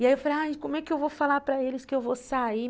E aí eu falei, ai, como é que eu vou falar para eles que eu vou sair?